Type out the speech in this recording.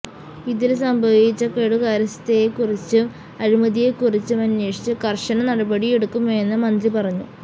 ഇതില് സംഭവിച്ച കെടുകാര്യസ്ഥതയെക്കുറിച്ചും അഴിമതിയെക്കുറിച്ചും അന്വേഷിച്ച് കര്ശന നടപടിയെടുക്കുമെന്ന് മന്ത്രി പറഞ്ഞു